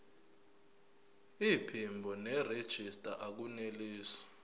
iphimbo nerejista akunelisi